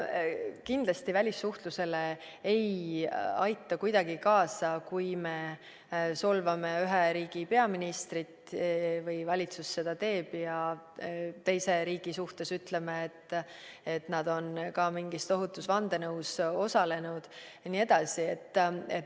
Kindlasti ei aita välissuhtlusele kuidagi kaasa, kui me solvame ühe riigi peaministrit, valitsus teeb seda, ja teise riigi suhtes ütleme, et nad on ka mingis tohutus vandenõus osalenud jne.